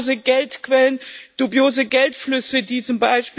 Dubiose Geldquellen, dubiose Geldflüsse, die z.